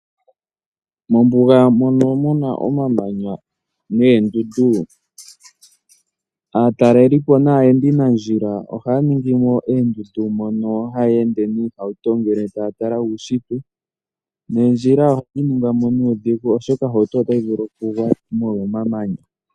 Mombuga mono muna omamanya noondundu aatalelipo naayendinandjila ohaya ningimo oondundu mono haya ende niihauto ngele taya tala uushitwe. Oondjila ohadhi ningwa mo nuudhigu oshoka ohauto otayi vulu kugwa molwa omamanya.